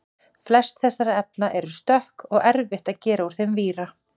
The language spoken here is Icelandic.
flest þessara efna eru stökk og erfitt að gera úr þeim víra